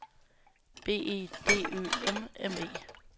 B E D Ø M M E